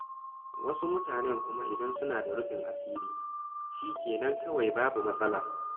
Wasu mutanen kuma idan suna da rufin asiri, shi ke nan kawai babu matsala.